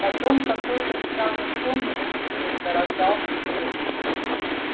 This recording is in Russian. потом какой-то странный сон ему снился раздался треск